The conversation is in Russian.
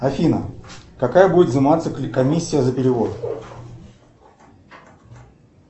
афина какая будет взиматься комиссия за перевод